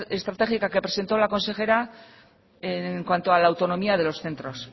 estratégica que presentó la consejera en cuanto a la autonomía de los centros